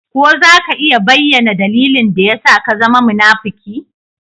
Ko za ka iya bayyana dalilin da ya sa ka zama munafuki?